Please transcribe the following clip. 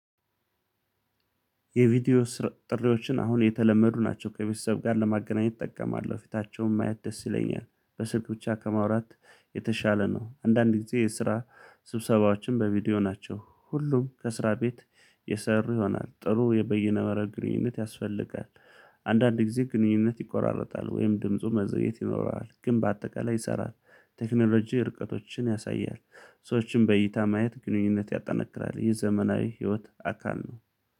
የቪዲዮ ስር ጥሪዎችን አሁን የተለመዱ ናቸው ከቤተሰብ ጋር ለማገናኘት እጠቀማለሁ ፊታቸውን የማየት ደስ ይለኛል። በስልክ ብቻ ከማውራት የተሻለ ነው። አንዳንድ ጊዜ የስራ ስብሰባዎችን በቪዲዮ ናቸው። ሁሉም ከስራ ቤት የሰሩ ይሆናል ጥሩ የበይነመረብ ግንኙነት ያስፈልጋል። አንዳንድ ጊዜ ግንኙነት ይቆራረጣል ወይም ድምፁ መዘግየት ይኖራል ግን በአጠቃላይ ይሰራል። ቴክኖሎጂ ርቀቶችን ያሳያል። ሰዎችን በእይታ ማየት ግንኙነት ያጠናክራል ይህ ዘመናዊ ህይወት አካል ነው።